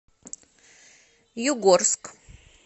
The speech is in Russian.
югорск